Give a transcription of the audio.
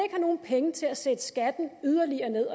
nogen penge til at sætte skatten yderligere ned